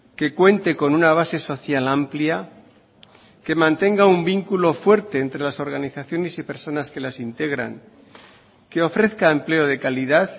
que cuente con una base social amplia que mantenga un vínculo fuerte entre las organizaciones y personas que las integran que ofrezca empleo de calidad